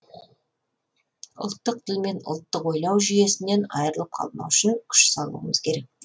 ұлттық тіл мен ұлттық ойлау жүйесінен айрылып қалмау үшін күш салуымыз керек